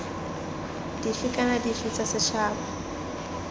dife kana dife tsa setšhaba